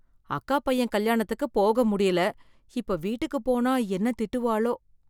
அக்கா பையன் கல்யாணத்துக்கு போக முடியல இப்ப வீட்டுக்கு போனா என்ன திட்டுவாளோ?